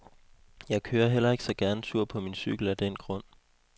Jeg kører heller ikke så gerne tur på min cykel af den grund.